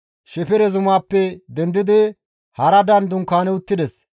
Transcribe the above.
Shefere Zumaappe dendidi Haradan dunkaani uttides.